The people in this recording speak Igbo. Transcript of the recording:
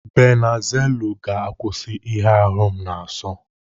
Banuzelu ga-akwụsị ihe ahu m na-aso.